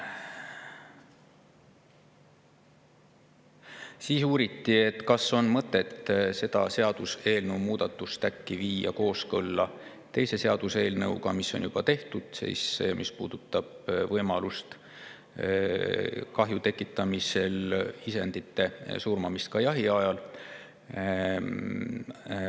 Siis uuriti, kas on äkki mõtet viia see seaduseelnõu kooskõlla teise seaduseelnõuga, mis on juba tehtud ja mis puudutab kahju tekitamisel isendite surmamise võimalust ka jahiajal.